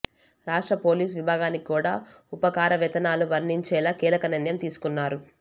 రాష్ట్ర పోలీసు విభాగానికి కూడా ఉపకారవేతనాలు వర్తించేలా కీలక నిర్ణయం తీసుకున్నారు